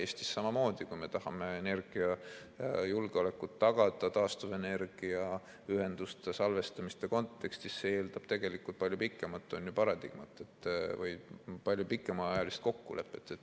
Eestis samamoodi: kui me tahame energiajulgeolekut tagada taastuvenergiaühenduste salvestamiste kontekstis, siis see eeldab tegelikult palju pikemat paradigmat või palju pikemaajalist kokkulepet.